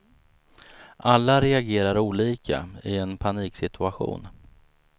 Alla reagerar olika i en paniksituation.